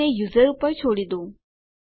તો એને યુઝર ઉપર છોડી દો